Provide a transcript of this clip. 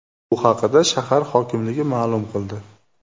Bu haqda shahar hokimligi ma’lum ma’lum qildi .